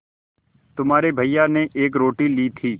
तुम्हारे भैया ने एक रोटी ली थी